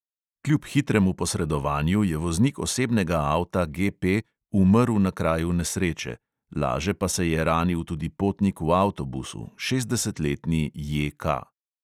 Kljub hitremu posredovanju je voznik osebnega avta G P umrl na kraju nesreče, laže pa se je ranil tudi potnik v avtobusu, šestdesetletni J K.